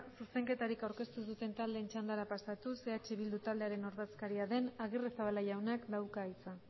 zuzenketarik aurkeztu ez duten taldeen txandara pasatuz eh bildu taldearen ordezkaria den agirrezabala jaunak dauka hitza